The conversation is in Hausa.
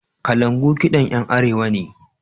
Kalangu kiɗan 'yan Arewa ne.